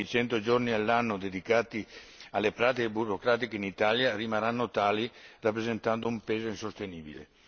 Temo che i 100 giorni all'anno dedicati alle pratiche burocratiche in Italia rimarranno tali, rappresentando un peso insostenibile.